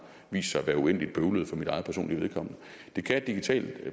vist sig at være uendelig bøvlet for mit eget personlige vedkommende det kan et digitalt